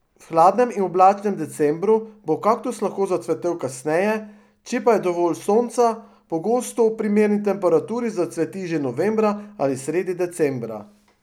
V hladnem in oblačnem decembru bo kaktus lahko zacvetel kasneje, če pa je dovolj sonca, pogosto ob primerni temperaturi zacveti že novembra ali sredi decembra.